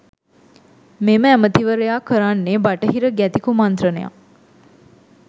මෙම ඇමතිවරයා කරන්නේ බටහිර ගැති කුමන්ත්‍රණයක්.